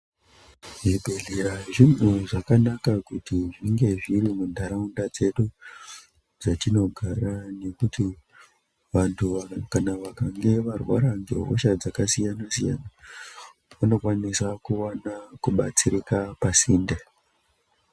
Zvibhedhlera zvinhu zvakanaka kuti zvinge zviri muntaraunda dzedu dzatinogara nekuti vantu vakange varwara ngehosha dzakasiyana-siyana, vanokwanisa kuwana kudetsereka pasinde.